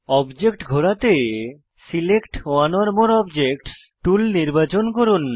object ঘোরাতে select one or more objects tool নির্বাচন করুন